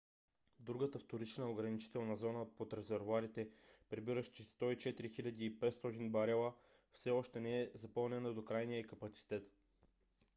другата вторична ограничителна зона под резервоарите побиращи 104 500 барела все още не е запълнена до крайния ѝ капацитет